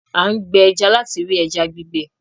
A n gbè ẹja láti rí ẹja gbígbẹ